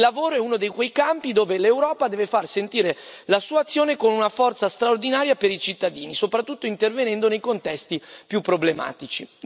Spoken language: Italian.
Il lavoro è uno dei quei campi dove l'Europa deve far sentire la sua azione con una forza straordinaria per i cittadini, soprattutto intervenendo nei contesti più problematici.